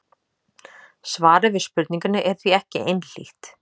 Svarið við spurningunni er því ekki einhlítt.